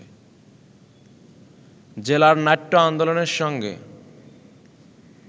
জেলার নাট্য আন্দোলনের সঙ্গে